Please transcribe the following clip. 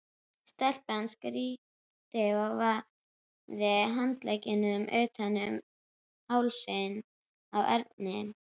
Stelpan skríkti og vafði handleggjunum utan um hálsinn á Erni.